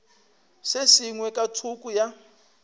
se sengwe ka thoko ya